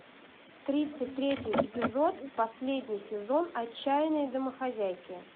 тридцать третий эпизод последний сезон отчаянные домохозяйки